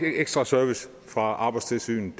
ekstra service fra arbejdstilsynet